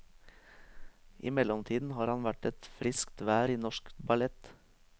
I mellomtiden har han vært et friskt vær i norsk ballett.